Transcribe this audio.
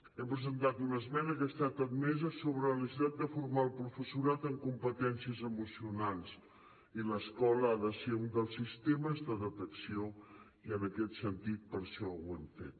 hem presentat una esmena que ha estat admesa sobre la necessitat de formar el professorat en competències emocionals i l’escola ha de ser un dels sistemes de detecció i en aquest sentit per això ho hem fet